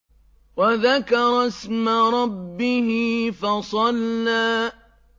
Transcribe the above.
وَذَكَرَ اسْمَ رَبِّهِ فَصَلَّىٰ